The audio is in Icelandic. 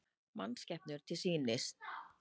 Mannskepnur til sýnis